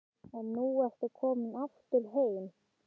Og nú ertu komin aftur heim?